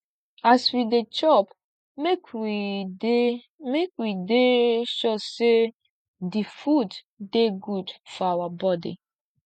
as we dey chop make we dey we dey sure sey di food dey good for our body